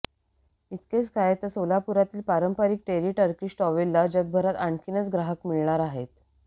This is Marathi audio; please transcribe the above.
इतकेच काय तर सोलापूरातील पारंपारीक टेरी टर्किंश टॉवेलला जगभरात आणखीन ग्राहक मिळणार आहेत